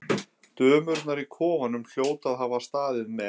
Dömurnar í kofanum hljóta að hafa staðið með